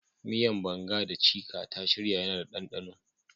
Miyan "banga" da " chika" ta shirya yana da danɗano.